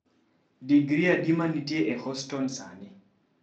Digri adi ma nitie e Houston sani